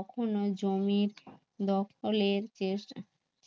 কখনো জমির দখলে